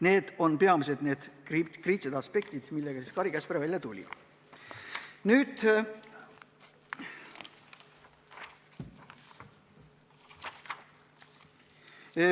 Need on peamised kriitilised aspektid, millega Kari Käsper välja tuli.